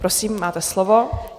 Prosím, máte slovo.